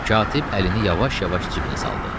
Katib əlini yavaş-yavaş cibinə saldı.